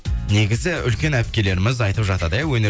негізі үлкен әпкелеріміз айтып жатады иә